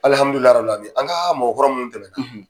an ka mɔgɔ kɔrɔ minnu tɛmɛ na.